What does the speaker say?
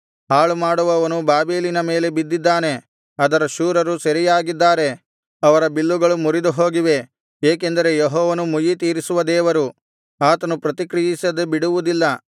ಹಾಳುಮಾಡುವವನು ಬಾಬೆಲಿನ ಮೇಲೆ ಬಿದ್ದಿದ್ದಾನೆ ಅದರ ಶೂರರು ಸೆರೆಯಾಗಿದ್ದಾರೆ ಅವರ ಬಿಲ್ಲುಗಳು ಮುರಿದುಹೋಗಿವೆ ಏಕೆಂದರೆ ಯೆಹೋವನು ಮುಯ್ಯಿತೀರಿಸುವ ದೇವರು ಆತನು ಪ್ರತಿಕ್ರಿಯಿಸದೆ ಬಿಡುವುದಿಲ್ಲ